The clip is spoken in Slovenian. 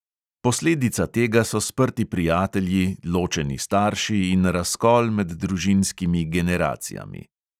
Posledica tega so sprti prijatelji, ločeni starši in razkol med družinskimi generacijami.